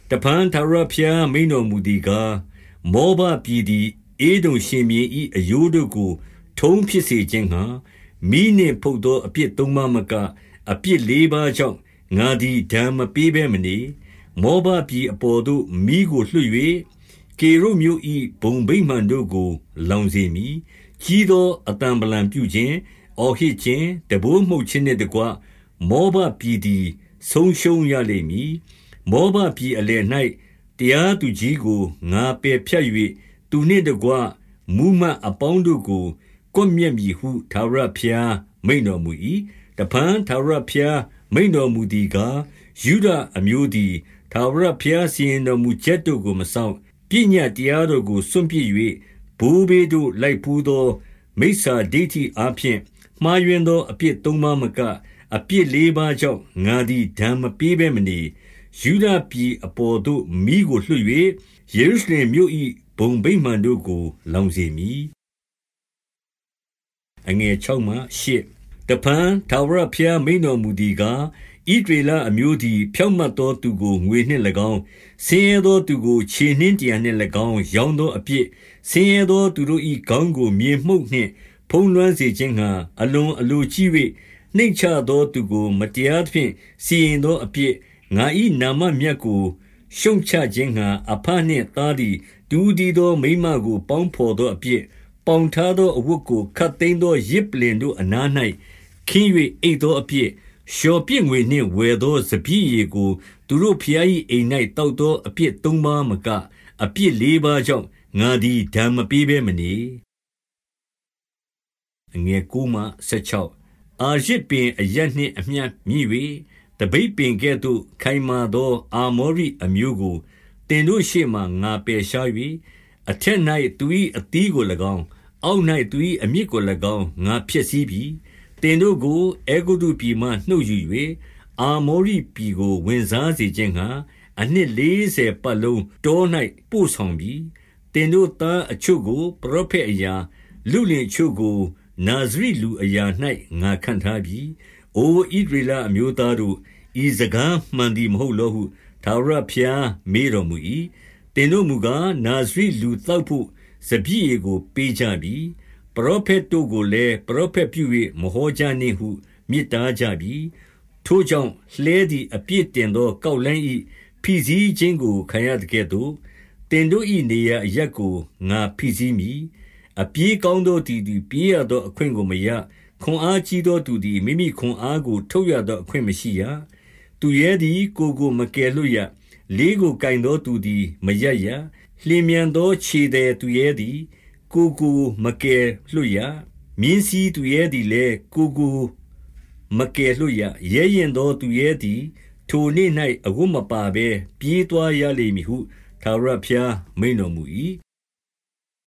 တဖန် ထာဝရဘုရားမိန့်တော်မူသည်ကား၊ မောဘပြည်သည် ဧဒုံရှင်ဘုရင်၏ အရိုးတို့ကို ထုံးဖြစ်စေ ခြင်းငှါ မီးနှင့် ဖုတ်သောအပြစ်သုံးပါးမက၊ အပြစ်လေးပါးကြောင့် ငါသည်ဒဏ်မပေးဘဲမနေ။ 2 မောဘပြည်အပေါ်သို့ မီးကိုလွှတ်၍၊ ကေရုတ်မြို့၏ဘုံဗိမာန်တို့ကို လောင်စေမည်။ ကြီးသော အသံဗလံ ပြုခြင်း၊ အော်ဟစ်ခြင်း၊ တံပိုးမှုတ်ခြင်းနှင့်တကွ မောဘပြည်သည် ဆုံးရှုံးရလိမ့်မည်။ 3 မောဘပြည်အလယ်၌ တရားသူကြီးကို ငါပယ်ဖြတ်၍၊ သူနှင့်တကွ မှူးမတ်အပေါင်းတို့ကို ကွပ်မျက် မည်ဟု ထာဝရဘုရားမိန့်တော်မူ၏။ 4 တဖန် ထာဝရဘုရားမိန့်တော်မူသည်ကား၊ ယုဒအမျိုးသည် ထာဝရဘုရားစီရင်တော်မူချက်တို့ကို မစောင့်၊ ပညတ်တရားတော်ကို စွန့်ပစ်၍၊ ဘိုးဘေးတို့ လိုက်ဘူးသော မိစ္ဆာဒိဌိအားဖြင့် မှားယွင်းသော အပြစ်သုံးပါးမက၊ အပြစ်လေးပါးကြောင့် ငါသည်ဒဏ်မပေးဘဲမနေ။ 5 ယုဒပြည်အပေါ်သို့ မီးကိုလွှတ်၍၊ ယေရုရှလင်မြို့၏ ဘုံဗိမာန်တို့ကို လောင်စေမည်။ 6 တဖန် ထာဝရဘုရား မိန့်တော်မူသည်ကား၊ ဣသရေလအမျိုးသည် ဖြောင့်မတ်သော သူကို ငွေနှင့်၎င်း၊ ဆင်းရဲသောသူကို ခြေနင်းတရံနှင့်၎င်း ရောင်းသောအပြစ်၊ 7 ဆင်းရဲသော သူတို့၏ခေါင်းကို မြေမှုန့်နှင့် ဖုံးလွှမ်းစေခြင်းငှါ အလွန်အလိုကြီး၍၊ နှိမ့်ချသောသူကို မတရားသဖြင့် စီရင်သောအပြစ်၊ ငါ၏နာမမြတ်ကို ရှုတ်ချခြင်းငှါ အဘနှင့်သားသည် တဦးတည်းသောမိန်းမကို ပေါင်းဘော်သောအပြစ်၊ 8 ပေါင်ထားသောအဝတ်ကို ခပ်သိမ်းသော ယဇ်ပလ္လင်တို့အနား၌ ခင်း၍အိပ်သောအပြစ်၊ လျော်ပြစ် ငွေကို ဝယ်သောစပျစ်ရည်ကို သူတို့ဘုရား၏အိမ်၌ သောက်သောအပြစ်သုံးပါးမက၊ အပြစ်လေးပါးကြောင့် ငါသည် ဒဏ်မပေးဘဲမနေ။ 9 အာရဇ်ပင်အရပ်နှင့်အမျှ မြင့်၍ သပိတ်ပင်ကဲ့သို့ ခိုင်မာသောအာမောရိအမျိုးကို သင်တို့ရှေ့မှာ ငါ ပယ်ရှား၍၊ အထက်၌ သူ၏အသီးကို၎င်း၊ အောက်၌ သူ၏အမြစ်ကို၎င်း ငါဖျက်ဆီးပြီ။ 10 သင်တို့ကို အဲဂုတ္တုပြည်မှနှုတ်ယူ၍ အာမောရိပြည်ကို ဝင်စားစေခြင်းငှါ၊ အနှစ်လေးဆယ်ပတ်လုံး တော၌ ပို့ဆောင်ပြီ။ 11 သင်တို့သားအချို့ကို ပရောဖက်အရာ၊ လုလင်အချို့ကို နာဇရိလူအရာ၌ ငါခန့်ထားပြီ။ အိုဣသရေလ အမျိုးသားတို့၊ ဤစကားမှန်သည် မဟုတ်လောဟု ထာဝရဘုရားမေးတော်မူ၏။ 12 သင်တို့မူကား၊ နာဇရီလူသောက်ဘို့ စပျစ်ရည်ကိုပေးကြပြီ။ ပရောဖက်တို့ကိုလည်း၊ ပရောဖက်ပြု၍ မဟောကြနှင့်ဟု မြစ်တားကြပြီ။ 13 ထိုကြောင့်၊ လှည်းသည် အပြည့်တင်သောကောက်လှိုင်း၏ဖိစီးခြင်းကို ခံရသကဲ့သို့၊ သင်တို့၏နေရာ အရပ်ကို ငါဖိစီးမည်။ 14 အပြေးကောင်းသောသူသည် ပြေးသောအခွင့်ကို မရ။ ခွန်အားကြီးသောသူသည် မိမိခွန်အားကို ထုတ်ရ သောအခွင့်မရှိရ။ သူရဲသည် ကိုယ်ကို မကယ်လွှတ်ရ။ 15 လေးကိုကိုင်သောသူသည်မရပ်ရ။ လျင်မြန်သောခြေသည် သူရဲသည် ကိုယ်ကိုမကယ်လွှတ်ရ။ မြင်းစီးသူရဲသည်လည်း ကိုယ်ကိုမကယ်လွှတ်ရ။ 16 ရဲရင့်သော သူရဲသည် ထိုနေ့၌ အဝတ်မပါဘဲ ပြေးသွားရလိမ့်မည်ဟု ထာဝရဘုရားမိန့်တော်မူ၏။